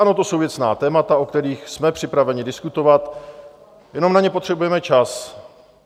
Ano, to jsou věcná témata, o kterých jsme připraveni diskutovat, jenom na ně potřebujeme čas.